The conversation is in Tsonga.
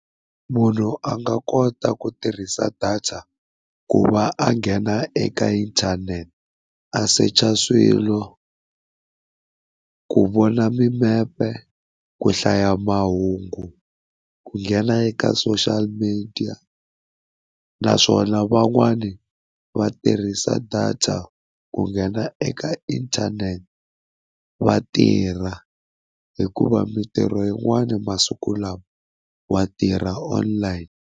Munhu a nga kota ku tirhisa data ku va a nghena eka inthanete, a secha swilo ku vona mimepe, ku hlaya mahungu, ku nghena eka social media naswona van'wana va tirhisa data ku nghena eka internet vatirha hikuva mitirho yin'wana masiku lawa wa tirha online.